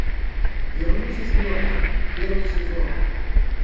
вернуть из мертвых первый сезон